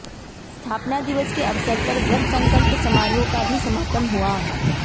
स्थापना दिवस के अवसर पर व्रत संकल्प समारोह का भी समापन हुआ